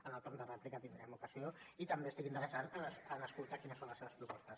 en el torn de rèplica en tindrem ocasió i també estic interessat en escoltar quines són les seves propostes